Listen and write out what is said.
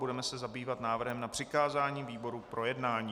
Budeme se zabývat návrhem na přikázání výborům k projednání.